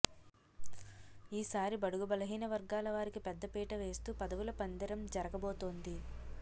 ఈసారి బడుగు బలహీన వర్గాల వారికి పెద్దపీట వేస్తూ పదవుల పందేరం జరగబోతోంది